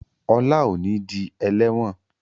Ola o ní dì eléwòn